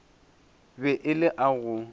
be e le a go